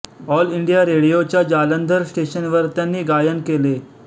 all India रेडिओच्या जालंधर स्टेशनवर त्यांनी गायन केले